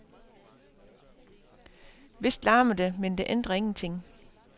Vist larmer det, men det ændrer ingenting.